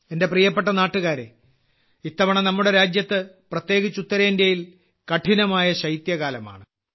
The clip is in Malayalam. എന്റെ പ്രിയപ്പെട്ട നാട്ടുകാരെ ഇത്തവണ നമ്മുടെ രാജ്യത്ത് പ്രത്യേകിച്ച് ഉത്തരേന്ത്യയിൽ കഠിനമായ ശൈത്യകാലമാണ്